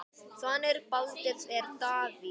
Sonur Baldurs er Davíð.